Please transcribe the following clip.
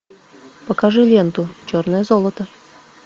покажи ленту черное золото